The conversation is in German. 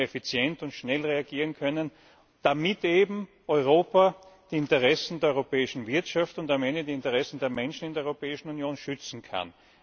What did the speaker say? Dann müssen wir effizient und schnell reagieren können, damit Europa die Interessen der europäischen Wirtschaft und am Ende die Interessen der Menschen in der Europäischen Union schützen kann.